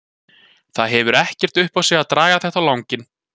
Það hefur ekkert upp á sig að draga þetta á langinn.